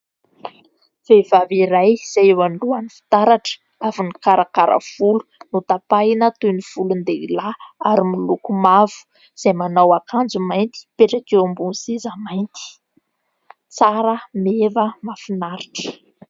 Vehivavy iray izay eo alohan'ny fitaratra avy nikarakara volo notapahina toy ny volon-dehilahy ary miloko mavo, izay manao akanjo mainty, mipetraka eo ambon'ny seza mainty, tsara meva, mahafinaritra !